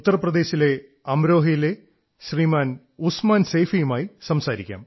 ഉത്തർ പ്രദേശിലെ അമരോഹയിലെ ശ്രീമാൻ ഉസ്മാൻ സൈഫീയുമായി സംസാരിക്കാം